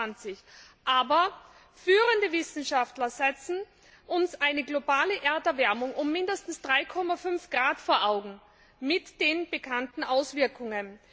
2020. Aber führende Wissenschaftler führen uns eine globale Erderwärmung um mindestens 3,5 Grad vor Augen mit den bekannten Auswirkungen.